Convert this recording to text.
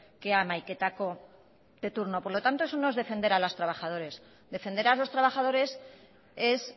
que hamaiketako de turno por lo tanto eso no es defender a los trabajadores defender a los trabajadores es